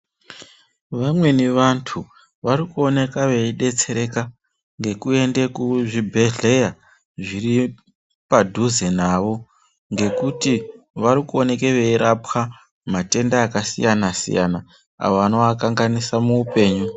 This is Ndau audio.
Vamweni vantu vari kuoneka veyi detsereka ngeku ende ku zvibhedhlera zviri padhuze navo ngekuti vari kuoneke vei rapwa matenda aka siyana siyana avo anova kanganisa mu upenyu.